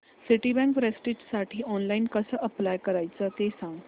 Citibank प्रेस्टिजसाठी online कसं apply करायचं ते सांग